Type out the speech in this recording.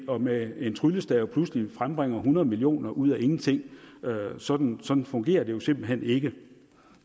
og med en tryllestav pludselig frembringer hundrede million kroner ud af ingenting sådan sådan fungerer det jo simpelt hen ikke